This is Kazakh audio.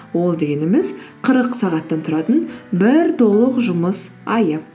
ол дегеніміз қырық сағаттан тұратын бір толық жұмыс айы